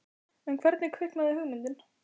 En hvernig kviknaði hugmyndin?